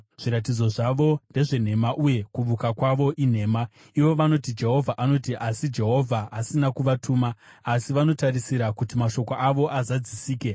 Zviratidzo zvavo ndezvenhema uye kuvuka kwavo inhema. Ivo vanoti, “Jehovha anoti,” asi Jehovha asina kuvatuma; asi vanotarisira kuti mashoko avo azadzisike.